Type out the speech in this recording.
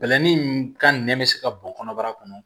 Bɛlɛnin ka nɛn bɛ se ka bɔn kɔnɔbara kɔnɔ